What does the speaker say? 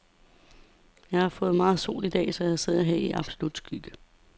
Jeg har fået for meget sol i dag, så jeg sidder her i absolut skygge.